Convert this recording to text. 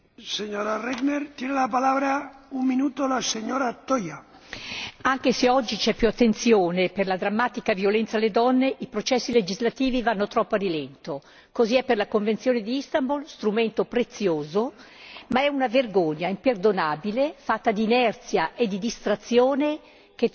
Signor Presidente, onorevoli colleghi, anche se oggi c'è più attenzione per la drammatica violenza alle donne, i processi legislativi vanno troppo a rilento. Così è per la convenzione di Istanbul, strumento prezioso ma è una vergogna imperdonabile fatta di inerzia e di distrazione che troppi pochi paesi l'abbiano firmata e ancor meno l'abbiano ratificata!